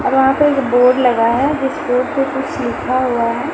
और वहाँ पे एक बोर्ड लगा है जिसपे कुछ लिखा हुआ है।